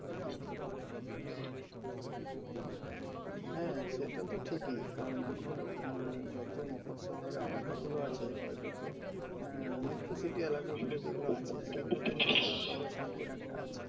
হ্যাঁ, সেটা তো ঠিকই। কারণ এখন আহ যত মফরসল এলাকাগুলো আছে বা যত আহ metro city এলাকা গুলো যেগুলো আছে আর কি সেখানে খুব জলের সঙ্কট একটা আছে।